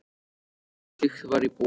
En ekkert slíkt var í boði.